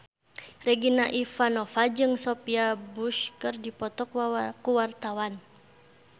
Regina Ivanova jeung Sophia Bush keur dipoto ku wartawan